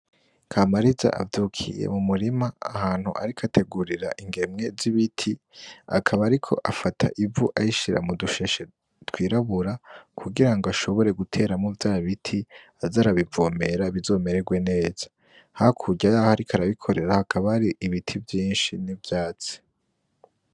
Kamariza avyukiye mu murima ahantu arik ategurira ingemwe z'ibiti , akaba ari ko afata ivu ayishira mu dusheshe twirabura kugira ngo ashobore guteramo vya biti az arabivomera bizomererwe neza , hakurya yaho ari ko arabikorera hakaba ari ibiti vyinshi n'ivyatsi.